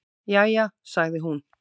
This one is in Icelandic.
"""Jæja, sagði hún."""